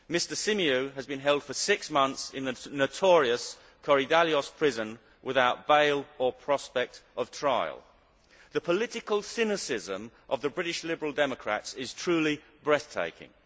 Mr Symeou has been held for six months in the notorious Korydallos prison without bail or prospect of trial. The political cynicism of the British Liberal Democrats is truly breathtaking.